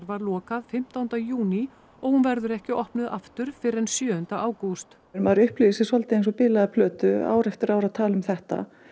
var lokað fimmtánda júní og hún verður ekki opnuð aftur fyrr en sjöunda ágúst maður upplifir sig svolítið eins og bilaða plötu ár eftir ár að tala um þetta